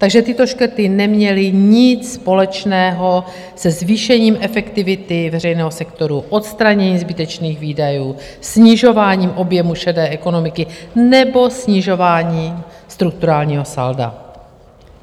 Takže tyto škrty neměly nic společného se zvýšením efektivity veřejného sektoru, odstranění zbytečných výdajů, snižování objemu šedé ekonomiky nebo snižování strukturálního salda.